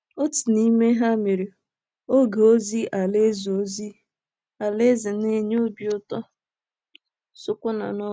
Otu n'ime ha mere, oge ozi Alaeze ozi Alaeze na-enye obi ụtọ sokwa na Norway.